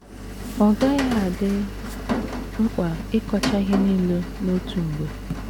Ọ gaghị adị mkpa ịkọcha ihe nile n’otu mgbe.